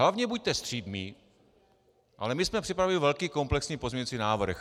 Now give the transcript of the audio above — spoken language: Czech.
Hlavně buďte střídmí, ale my jsme připravili velký komplexní pozměňovací návrh.